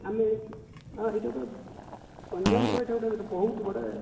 ଆମେ କି ହଁ ଏଇଟା ଗୋଟେ ଗଞ୍ଜାମ ର ଏଇଟା ଗୋଟେ ଗୋଟେ ବହୁତ ବଡ